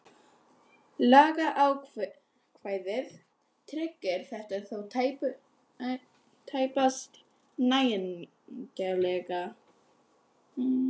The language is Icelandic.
Lagaákvæðið tryggir þetta þó tæpast nægjanlega.